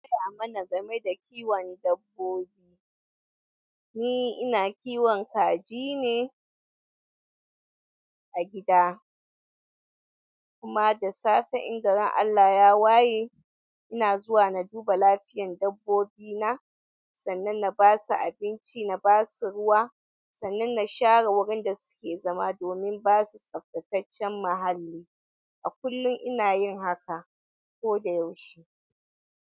Ya mana game da kiwon dabbobi, ni ina kiwon kaji ne. A gida, kuma da safe in garin Allah ya waye. Ina zuwa na duba lafiyan dabbobi na. Sannan na basu abinci, na basu ruwa. Sannan na share wurin da suke zama domin basu tsaftataccen muhalli. A kullum ina yin haka ko da yaushe.